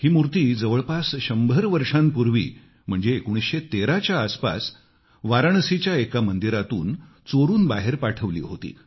ही मूर्ती जवळपास 100 वर्षांपूर्वी म्हणजे 1913 च्या आसपास वाराणसीच्या एका मंदिरातून चोरून बाहेर पाठवली होती